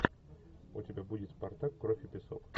у тебя будет спартак кровь и песок